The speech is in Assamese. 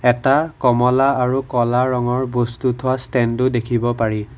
এটা কমলা আৰু ক'লা ৰঙৰ বস্তু থোৱা ষ্টেণ্ড ও দেখিব পাৰি।